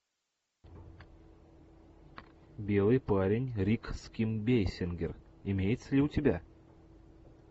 белый парень рик с ким бейсингер имеется ли у тебя